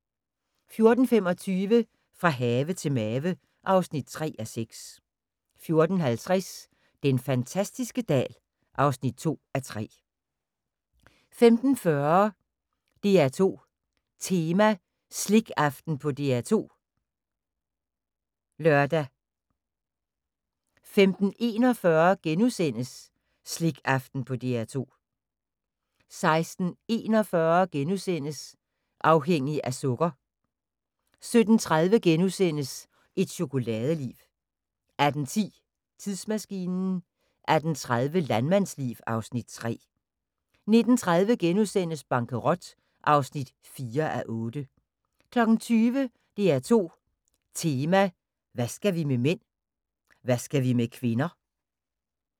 14:25: Fra have til mave (3:6) 14:50: Den fantastiske dal (2:3) 15:40: DR2 Tema: Slikaften på DR2 (lør) 15:41: Slikaften på DR2 * 16:41: Afhængig af sukker * 17:30: Et chokoladeliv * 18:10: Tidsmaskinen 18:30: Landmandsliv (Afs. 3) 19:30: Bankerot (4:8)* 20:00: DR2 Tema: Hvad skal vi med mænd? Hvad skal vi med kvinder?